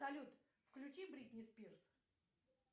салют включи бритни спирс